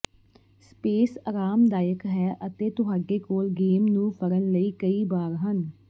space ਅਰਾਮਦਾਇਕ ਹੈ ਅਤੇ ਤੁਹਾਡੇ ਕੋਲ ਗੇਮ ਨੂੰ ਫੜਨ ਲਈ ਕਈ ਬਾਰ ਹਨ